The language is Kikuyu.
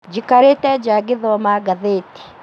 Njikarĩte nja ngĩthoma ngathĩti